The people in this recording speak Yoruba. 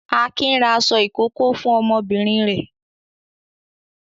Akin ra aṣọ ìkókó fún ọmọbìnrin rẹ̀.